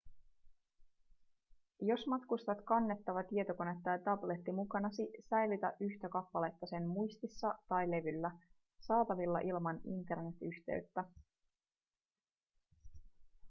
jos matkustat kannettava tietokone tai tabletti mukanasi säilytä yhtä kappaletta sen muistissa tai levyllä saatavilla ilman internetyhteyttä